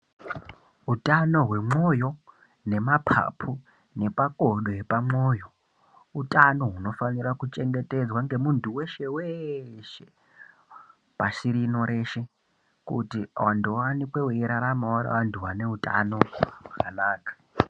Utano hwemoyo nemapapu nemakodo epamwoyo utano hunofanira kuchengetedzwa ngemunhu weshe weshe pashi rino reshe kuti vanhu vaonekwe veirarama vari vanhu vaneutano hwakanaka.